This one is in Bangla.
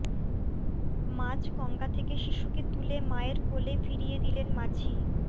মাঝ গঙ্গা থেকে শিশুকে তুলে মায়ের কোলে ফিরিয়ে দিলেন মাঝি